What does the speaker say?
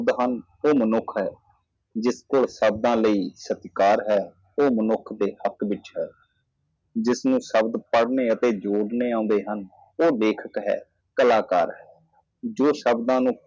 ਮਹੰਤ ਮਨੁੱਖ ਹੈ ਜਿਸ ਕੋਲ ਸ਼ਬਦਾਂ ਲਈ ਸਤਿਕਾਰ ਹੈ ਉਹ ਮਨੁੱਖ ਦੇ ਹਕ਼ ਵਿਚ ਹੈ ਜਿਸ ਨੂੰ ਸ਼ਬਦ ਜੋੜਨੇ ਅਤੇ ਪੜ੍ਹਨੇ ਆਉਂਦੇ ਹਨ ਉਹ ਹੈ ਲੇਖਕ ਹੈ ਇੱਕ ਕਲਾਕਾਰ ਹੈ ਉਹ ਸ਼ਬਦ ਜੋ